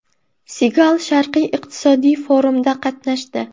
Sigal Sharqiy iqtisodiy forumda qatnashdi.